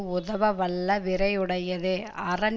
உதவவல்ல வீரரையுடையது அரண்